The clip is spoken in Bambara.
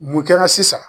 Mun kɛra sisan